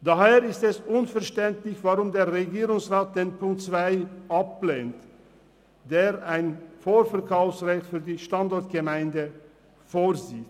Daher ist es unverständlich, weshalb der Regierungsrat den Punkt 2 ablehnt, der ein Vorkaufsrecht für die Standortgemeinde vorsieht.